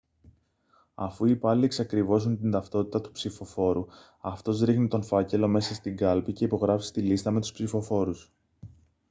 αφού οι υπάλληλοι εξακριβώσουν την ταυτότητα του ψηφοφόρου αυτός ρίχνει τον φάκελο μέσα στην κάλπη και υπογράφει στη λίστα με τους ψηφοφόρους